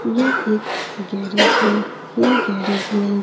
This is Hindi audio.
यह एक गैरेज है। यह गैरेज में --